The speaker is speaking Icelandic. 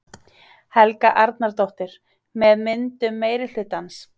Helga Arnardóttir: með myndun meirihlutans?